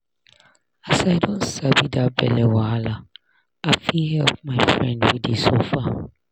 as i don sabi that belle wahala i fit help my friend wey dey suffer.